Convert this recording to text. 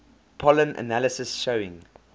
pollen analysis showing